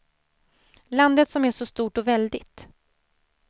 Landet som är så stort och väldigt.